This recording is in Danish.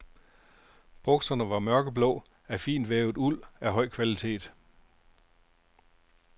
Bukserne var mørkeblå af fintvævet uld af høj kvalitet.